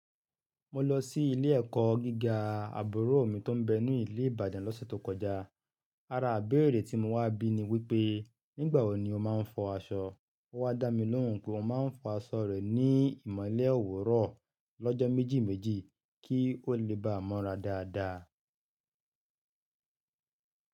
Mo lọ sí ilé ẹ̀kọ́ gíga àbúrò mi tó ń bẹ ní ilé Ìbàdàn lọ́sẹ̀ tó kọjá. Ara ibéèrè tí mo wá bí ni wípé nígbà wo ni ó máa ń fọ aṣọ? Ó wá dá mi lóhùn pé óun máa ń fọ aṣọ rẹ̀ ní ìmọ̀lé òwúrọ̀ lọ́jọ́ méjì méjì kí ó le bá mọ́ra dáadáa.